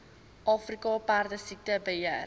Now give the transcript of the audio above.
afrika perdesiekte beheer